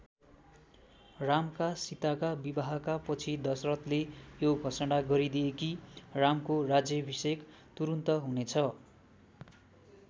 रामका सीताका विवाहका पछि दशरथले यो घोषणा गरिदिए कि रामको राज्याभिषेक तुरून्त हुनेछ।